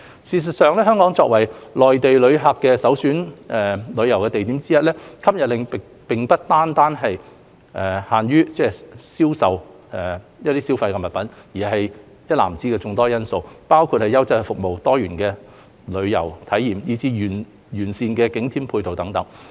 事實上，香港作為內地旅客旅遊首選地之一，吸引力並非單單限於銷售消費貨品，而是一籃子的眾多因素，包括優質服務、多元化的旅遊體驗，以至完善的景點配套等。